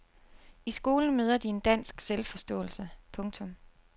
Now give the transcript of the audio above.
I skolen møder de en dansk selvforståelse. punktum